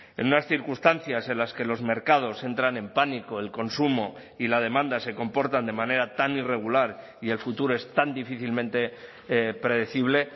en unas circunstancias en las que los mercados entran en pánico el consumo y la demanda se comportan de manera tan irregular y el futuro es tan difícilmente predecible